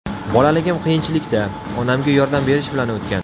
Bolaligim qiyinchilikda, onamga yordam berish bilan o‘tgan.